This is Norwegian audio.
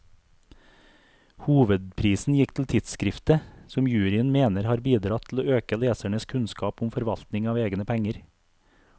Hovedprisen gikk til tidskriftet, som juryen mener har bidratt til å øke lesernes kunnskap om forvaltning av egne penger.